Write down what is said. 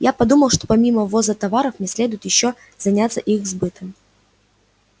я подумал что помимо ввоза товаров мне следует ещё заняться их сбытом